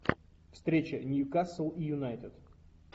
встреча ньюкасл и юнайтед